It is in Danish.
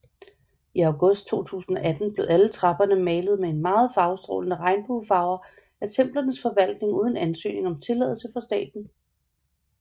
I august 2018 blev alle trapperne malet med meget farvestrålende regnbuefarver af templernes forvaltning uden ansøgning om tilladelse fra staten